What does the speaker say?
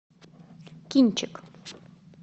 кинчик